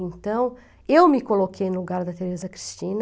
Então, eu me coloquei no lugar da Teresa Cristina.